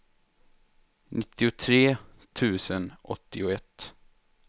nittiotre tusen åttioett